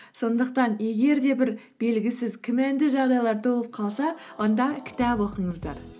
сондықтан егер де бір белгісіз күмәнді жағдайлар толып қалса онда кітап оқыңыздар